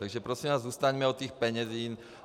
Takže prosím vás, zůstaňme u těch peněz.